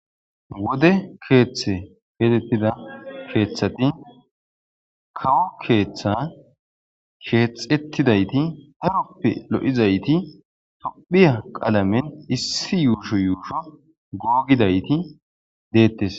Wode keeththe keetettida keeththati kawo keeththa sheexettidayti aroppe lo7izayti tophiya qaalamen issi yuusho yuusho googidayti deettes.